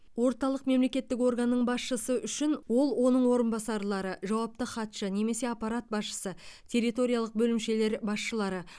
орталық мемлекеттік органның басшысы үшін ол оның орынбасарлары жауапты хатшы немесе аппарат басшысы территориялық бөлімшелердің басшылары